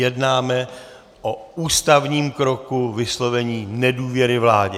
Jednáme o ústavním kroku vyslovení nedůvěry vládě.